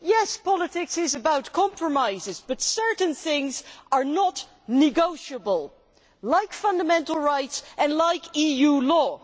Yes, politics is about compromises, but certain things are not negotiable, like fundamental rights and EU law.